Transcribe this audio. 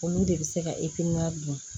Olu de bɛ se ka dun